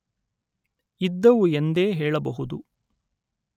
ಇದ್ದುವು ಎಂದೇ ಹೇಳಬಹುದು